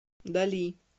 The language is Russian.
дали